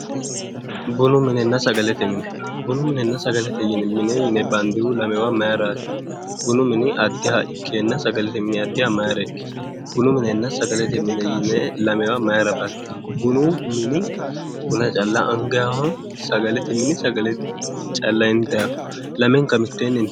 Bunu minenna sagalete mine bunu minenna sagalete mine yine baniddehu mayiraat? bunu mini qddiha ikeenna sagalete mine addiha maayra ikki? Bunu minenna sagalete mine yine lamewa mayra baniddi? Bunu mini buna calla anigayiho? sagalete mini sagale calla initayiho lamenika miteenni intayiwa